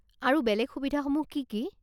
আৰু বেলেগ সুবিধাসমূহ কি কি?